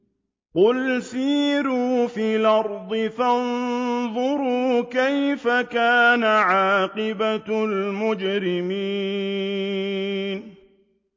قُلْ سِيرُوا فِي الْأَرْضِ فَانظُرُوا كَيْفَ كَانَ عَاقِبَةُ الْمُجْرِمِينَ